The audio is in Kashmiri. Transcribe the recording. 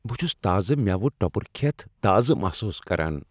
بہٕ چھس تازٕ میوٕ ٹۄبر کھیتھ تازٕ محسوس کران۔